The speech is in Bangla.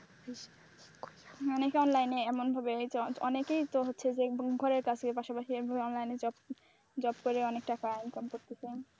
অনেকে এই line এ এমনভাবে অনেকেই তো হচ্ছে যে, ঘরের কাছে পাশাপাশি এভাবে online এ job করে অনেক টাকা income করতেছে।